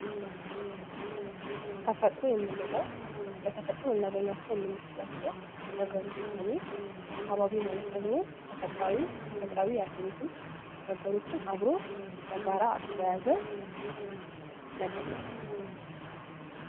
ተፈጥሮ የምንለው በተፈጥሮ ልናገኛቸው የምንችላቸው ነገሮች ሲሆኑ አካባቢ ማለት ደግሞ ተፈጥሮአዊም ፣ ተፈጥሮአዊ ያልሆኑትም ነገሮችን አብሮ በጋራ አቅፎ የያዘ ነገር ነው ።